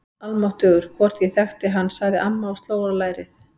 Almáttugur, hvort ég þekkti hann sagði amma og sló á lærið.